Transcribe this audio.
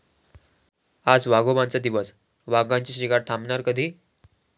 आज वाघोबांचा दिवस, वाघांची शिकार थांबणार कधी?